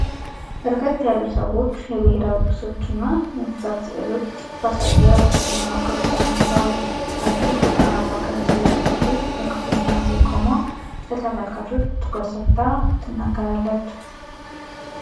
በርከት ያሉ ሰዎች የብሔራዊ ቅርሶችን እና የእንስሳት ሥዕሎችን ባሳየ ውስጣዊ መዋቅር ውስጥ ተቀምጠዋል። አንዲት ብርቱካንማ ቀሚስ የለበሰች ሴት በክፍሉ መሃል ላይ ቆማ ለተመልካቾች ትኩረት ሰጥታ ትናገራለች።